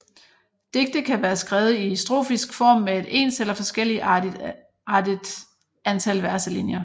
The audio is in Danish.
Digtet kan være skrevet i strofisk form med et ens eller forskelligartet antal verselinjer